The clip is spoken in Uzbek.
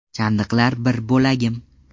Chandiqlar bir bo‘lagim.